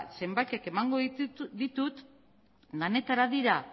zenbakiak emango ditut denetara dira